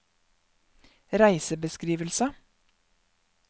reisebeskrivelse